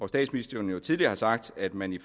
statsministeren jo tidligere har sagt at man i